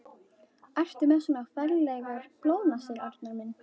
Ertu með svona ferlegar blóðnasir, Arnar minn?